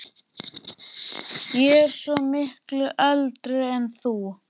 Ég er svo miklu eldri en þú